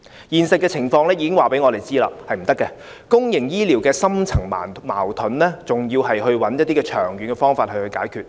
現實情況已經告訴我們，是不可以的，公營醫療的深層矛盾，還要尋找一些長遠方法來解決。